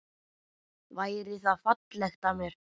Væri það fallegt af mér?